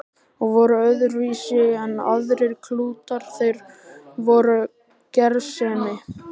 Og voru öðruvísi en aðrir klútar, þeir voru gersemi.